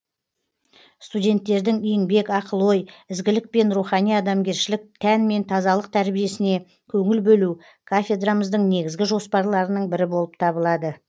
студенттердің еңбек ақыл ой ізгілік пен рухани адамгершілік тән мен тазалық тәрбиесіне көңіл бөлу кафедрамыздың негізгі жоспарларының бірі болып табылады